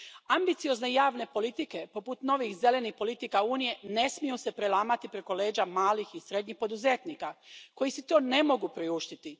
Ambiciozne javne politike, poput novih zelenih politika Unije, ne smiju se prelamati preko leđa malih i srednjih poduzetnika koji si to ne mogu priuštiti.